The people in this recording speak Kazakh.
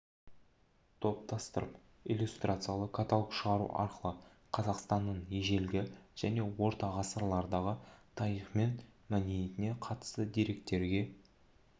топтастырып иллюстрациялы каталог шығару арқылы қазақстанның ежелгі және орта ғасырлардағы тарихы мен мәдениетіне қатысты деректерге